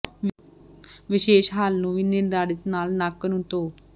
ਵਿਸ਼ੇਸ਼ ਹੱਲ ਨੂੰ ਵੀ ਨਿਰਧਾਰਤ ਨਾਲ ਨੱਕ ਨੂੰ ਧੋ